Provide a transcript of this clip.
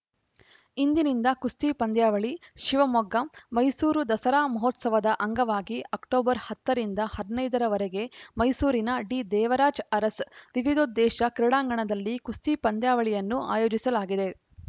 ಇಂದಿನಿಂದ ಕುಸ್ತಿ ಪಂದ್ಯಾವಳಿ ಶಿವಮೊಗ್ಗ ಮೈಸೂರು ದಸರಾ ಮಹೋತ್ಸವದ ಅಂಗವಾಗಿ ಅಕ್ಟೋಬರ್ ಹತ್ತ ರಿಂದ ಹದಿನೈದ ರವರೆಗೆ ಮೈಸೂರಿನ ಡಿದೇವರಾಜ್ ಅರಸ್‌ ವಿವಿದೋದ್ಧೇಶ ಕ್ರೀಡಾಂಗಣದಲ್ಲಿ ಕುಸ್ತಿ ಪಂದ್ಯಾವಳಿಯನ್ನು ಆಯೋಜಿಸಲಾಗಿದೆ